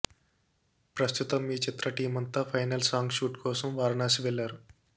ప్రస్తుతం ఈ చిత్ర టీం అంతా ఫైనల్ సాంగ్ షూట్ కోసం వారణాశి వెళ్ళారు